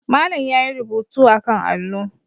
Malam yayi rubutu akan allo.